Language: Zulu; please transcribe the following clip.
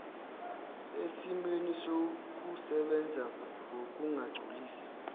esimweni sokusebenza ngokungagculisi